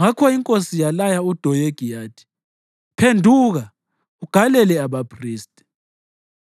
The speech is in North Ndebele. Ngakho inkosi yalaya uDoyegi yathi, “Phenduka ugalele abaphristi!”